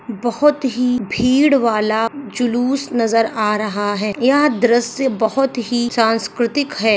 बहुत ही भीड़ वाला जलूस नजर आ रहा है यह दृशय बहुत ही सांस्कृतिक है।